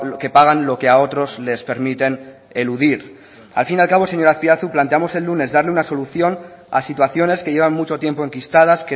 que pagan lo que a otros les permiten eludir al fin y al cabo señor azpiazu planteamos el lunes darle una situación a situaciones que llevan mucho tiempo enquistadas